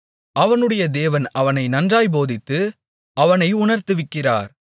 அவனுடைய தேவன் அவனை நன்றாய்ப் போதித்து அவனை உணர்த்துவிக்கிறார்